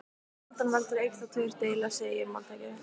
Sjaldan veldur einn þá tveir deila, segir máltækið.